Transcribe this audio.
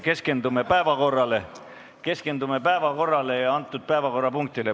Keskendume päevakorrale ja antud päevakorrapunktile!